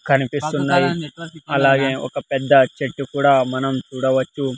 కనిపిస్తున్నాయి అలాగే ఒక పెద్ద చెట్టు కూడా మనం చూడవచ్చు.